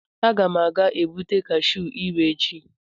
Aga m ga-egbute cashu ire echi.